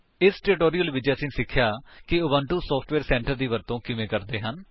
ਇਸ ਟਿਊਟੋਰਿਅਲ ਵਿੱਚ ਅਸੀਂ ਸਿੱਖਿਆ ਹੈ ਕਿ ਉਬੁੰਟੂ ਸੋਫਟਵੇਅਰ ਸੈਂਟਰ ਦੀ ਵਰਤੋ ਕਿਵੇਂ ਕਰਦੇ ਹਨ